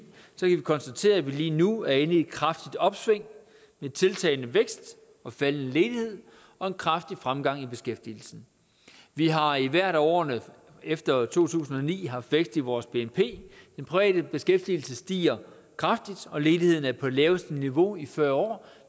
konstatere at vi lige nu er inde i et kraftigt opsving med tiltagende vækst faldende ledighed og en kraftig fremgang i beskæftigelsen vi har i hvert af årene efter to tusind og ni haft vækst i vores bnp den private beskæftigelse stiger kraftigt og ledigheden er på det laveste niveau i fyrre år